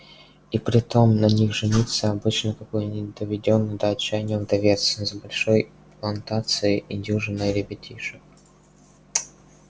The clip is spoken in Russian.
и притом на них женится обычно какой-нибудь доведённый до отчаяния вдовец с большой плантацией и дюжиной ребятишек